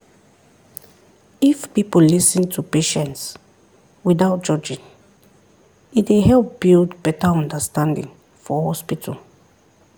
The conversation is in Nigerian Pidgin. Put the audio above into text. if people lis ten to patients without judging e dey help build better understanding for hospital.